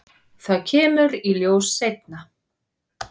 Það kemur í ljós seinna.